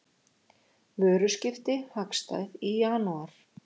Vöruskipti hagstæð í janúar